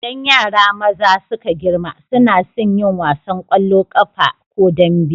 Idan yara maza suka girma suna sun yin wasan ƙwallon ƙafa ko dambe.